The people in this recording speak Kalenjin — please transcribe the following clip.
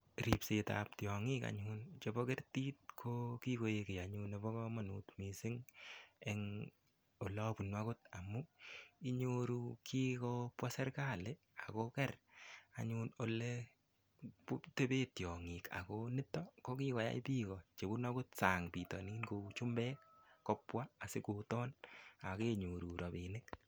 Ripset ap tiong'ik anyun chebo kertit ko kikoek kiy nebo komonut missing amu inyoru kikopwa serikali akoker akotepee tiong'ik ako nitok ko kikoyai biko chebunu sang bitonin kou chumbek kopwa asikoton akenyoru ropinik.